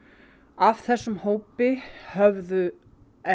af þessum hópi höfðu